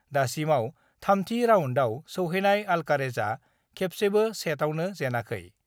दासिमाव थामथि राउन्डआव सौहैनाय अल्कारेजआ खेबसेबो सेटआवनो जेनाखै।